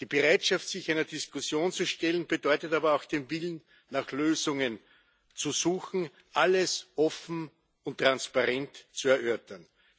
Die Bereitschaft, sich einer Diskussion zu stellen, bedeutet aber auch den Willen, nach Lösungen zu suchen, alles offen und transparent zu erörtern.